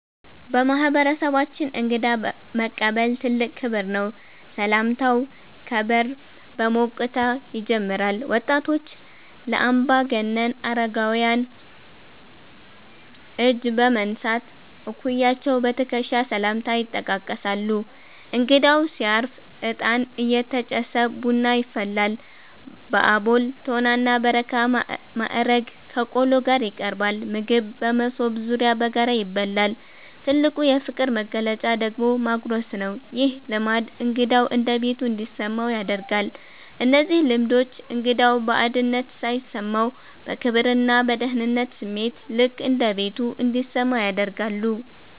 በማህበረሰባችን እንግዳ መቀበል ትልቅ ክብር ነው። ሰላምታው ከበር በሞቅታ ይጀምራል። ወጣቶች ለአምባገነን አረጋውያን እጅ በመንሳት፣ እኩያዎች በትከሻ ሰላምታ ይጠቃቀሳሉ። እንግዳው ሲያርፍ እጣን እየተጨሰ ቡና ይፈላል። በአቦል፣ ቶና እና በረካ ማዕረግ ከቆሎ ጋር ይቀርባል። ምግብ በመሶብ ዙሪያ በጋራ ይበላል። ትልቁ የፍቅር መግለጫ ደግሞ ማጉረስ ነው። ይህ ልማድ እንግዳው እንደ ቤቱ እንዲሰማው ያደርጋል። እነዚህ ልማዶች እንግዳው ባዕድነት ሳይሰማው፣ በክብርና በደህንነት ስሜት "ልክ እንደ ቤቱ" እንዲሰማው ያደርጋሉ።